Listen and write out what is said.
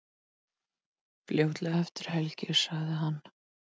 Fljótlega eftir helgi, sagði hann.